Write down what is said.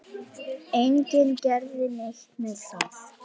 Enginn gerði neitt með það.